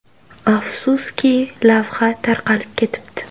Afsuski, lavha tarqalib ketibdi.